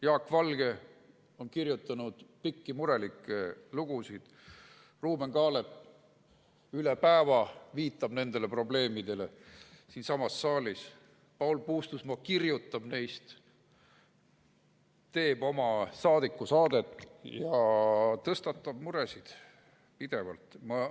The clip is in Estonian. Jaak Valge on kirjutanud pikki murelikke lugusid, Ruuben Kaalep viitab siinsamas saalis üle päeva nendele probleemidele, Paul Puustusmaa kirjutab neist, teeb oma saadikusaadet ja tõstatab pidevalt muresid.